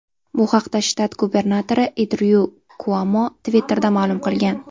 Bu haqda shtat gubernatori Endryu Kuomo Twitter’da ma’lum qilgan .